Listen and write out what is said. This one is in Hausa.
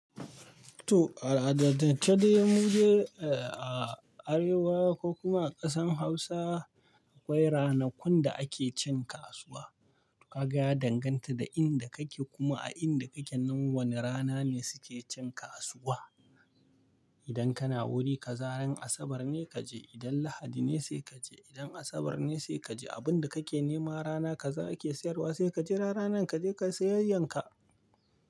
To a al'adance dai mudai ea! Arewawa ko kuma a ƙasan Hausa akwai ranakun da ake cin kasuwa. Kaga ya danganta da inda kake kuma a inda kake nan wane rana ne suke cin kasuwa. Idan kana Wuri ka za ran Asabar ne kaje, idan Lahadi ne sai kaje. Idan Asabar ne sai kaje abinda kake nema rana ka za ake siyarwa sai kajira ranar ka je kai sayayyanka.